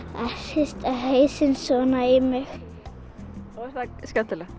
hrista hausinn svona í mig er það skemmtilegt